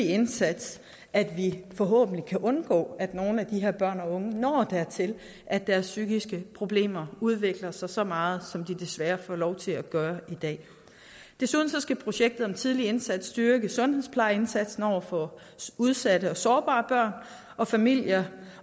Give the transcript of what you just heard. indsats at vi forhåbentlig kan undgå at nogle af de her børn og unge når dertil at deres psykiske problemer udvikler sig så meget som de desværre får lov til at gøre i dag desuden skal projektet om tidlig indsats styrke sundhedsplejeindsatsen over for udsatte og sårbare børn og familier